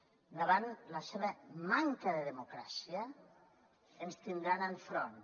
davant la seva manca de democràcia ens tindran enfront